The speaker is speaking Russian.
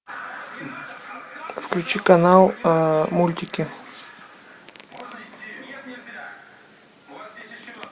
включи канал мультики